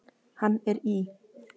Hann er í